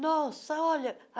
Nossa, olha!